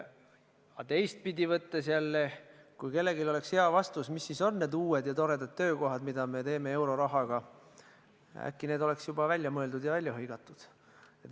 Aga teistpidi võttes, kui kellelgi oleks hea vastus, mis siis on need uued ja toredad töökohad, mida me tekitame eurorahaga, äkki see oleks juba välja mõeldud ja välja hõigatud.